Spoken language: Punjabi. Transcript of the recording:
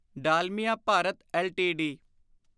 ਡਾਲਮੀਆ ਭਾਰਤ ਐੱਲਟੀਡੀ